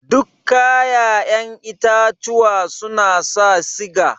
Duk kayaƴen itatuwa suna sa siga?